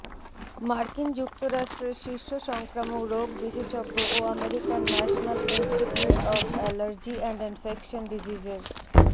মার্কিন যুক্তরাষ্ট্রের শীর্ষ সংক্রামক রোগ বিশেষজ্ঞ ও আমেরিকার national institute of allergy and infection ডিজিজেসের